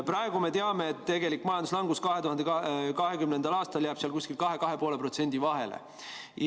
Praegu me teame, et tegelik majanduslangus 2020. aastal jääb 2% ja 2,5% vahele.